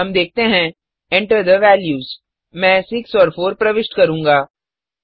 हम देखते हैं enter थे वैल्यूज मैं 6 और 4 प्रविष्ट करूँगा